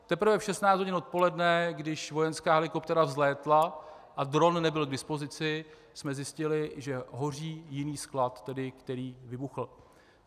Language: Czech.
Teprve v 16 hodin odpoledne, když vojenská helikoptéra vzlétla, a dron nebyl k dispozici, jsme zjistili, že hoří jiný sklad, který vybuchl.